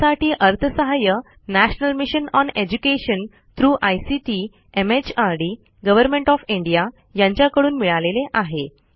यासाठी अर्थसहाय्य national mission on education through ICT MHRD government of India यांच्याकडून मिळालेले आहे